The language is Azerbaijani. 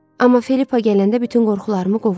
Amma Filippa gələndə bütün qorxularımı qovur.